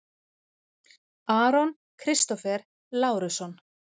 Aron Kristófer Lárusson